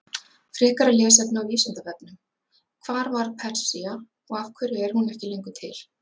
Frekara lesefni á Vísindavefnum: Hvar var Persía og af hverju er hún ekki lengur til?